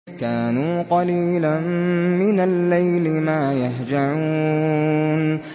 كَانُوا قَلِيلًا مِّنَ اللَّيْلِ مَا يَهْجَعُونَ